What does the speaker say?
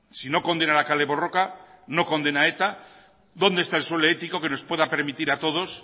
si no condena la kale borroka no condena a eta dónde está el suelo ético que nos pueda permitir a todos